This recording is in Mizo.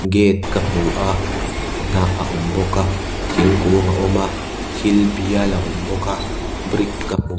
gate ka hmu a hnah a awm bawka thingkung a awm a thil bial a awm bawk a brick ka hmu --